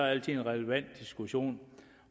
altid en relevant diskussion